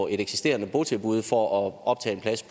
et eksisterende botilbud for at optage en plads